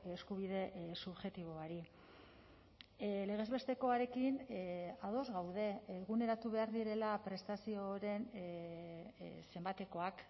eskubide subjektiboari legez bestekoarekin ados gaude eguneratu behar direla prestazioren zenbatekoak